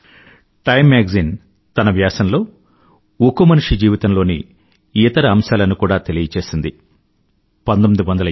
time magazine తన వ్యాసంలో ఉక్కు మనిషి జీవితంలోని ఇతర అంశాలను కూడా బహిర్గతం చేసింది